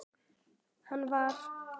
Hann var.